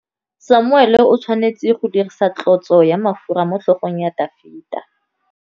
Samuele o tshwanetse go dirisa tlotsô ya mafura motlhôgong ya Dafita.